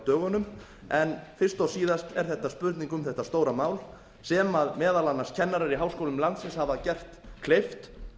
dögunum en fyrst og síðast er þetta spurning um þetta stóra mál sem meðal annars kennarar í háskólum landsins hafa gert kleift